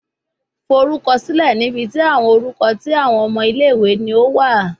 Forukọsilẹ ni ibi ti awọn orukọ ti awọn omo ile ni o wa